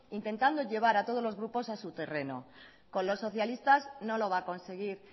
intentado llevar a todos los grupos a su terreno con los socialistas no lo va a conseguir